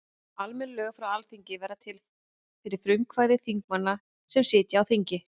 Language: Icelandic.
Almenn lög frá Alþingi verða til fyrir frumkvæði þingmanna sem sitja á þingi.